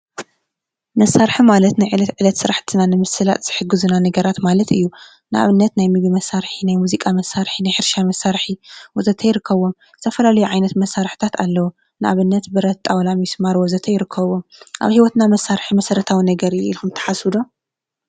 መሳርሒ ማለት ናይ ዕለት ዕለት ስራሕትና ንምስላጥ ዝሕግዙና ነገራት ማለት እዩ ። ንአብነት ናይ ምግቢ መሳርሒ ናይ ሙዚቃ መሳርሒ ናይ ሕርሻ መሳርሒ ወዘተ ይርከቡ ዝተፈላለዩ ዓይነት መሳርሒታት አለው ንአብነት ብረት ጣውላ ምስማር ወዘተ ይርከቡ አብ ሂወትና መሳርሒ መሰረታዊ ነገር እዩ ኢልኩም ትሓስቡ ዶ ?